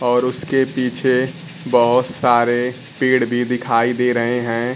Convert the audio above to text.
और उसके पीछे बहोत सारे पेड़ भी दिखाई दे रहे हैं।